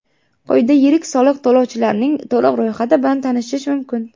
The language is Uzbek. Quyida yirik soliq to‘lovchilarning to‘liq ro‘yxati bilan tanishish mumkin.